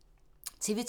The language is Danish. TV 2